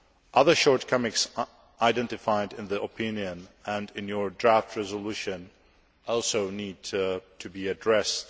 Other shortcomings identified in the opinion and in your draft resolution also need to be addressed.